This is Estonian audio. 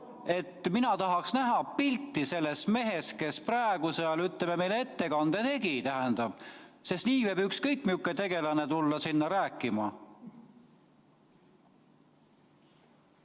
] Mina tahaks näha pilti sellest mehest, kes praegu seal meile ettekande tegi, sest nii võib ükskõik missugune tegelane tulla sinna rääkima.